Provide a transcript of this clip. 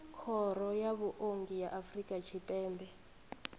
khoro ya vhuongi ya afrika tshipembe